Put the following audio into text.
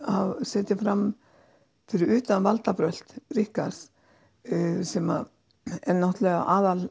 setja fram fyrir utan valdabrölt Ríkharðs sem er náttúrulega